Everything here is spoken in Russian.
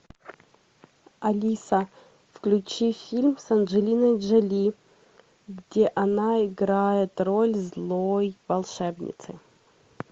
алиса включи фильм с анжелиной джоли где она играет роль злой волшебницы